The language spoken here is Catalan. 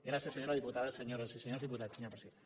gràcies senyora diputada senyores i senyors diputats senyor president